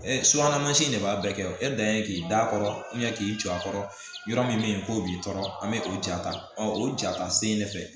subahana mansin de b'a bɛɛ kɛ e dan ye k'i da kɔrɔ k'i jɔ a kɔrɔ yɔrɔ min be yen k'o b'i tɔɔrɔ an be k'o ja ta o ja ta sen de fɛ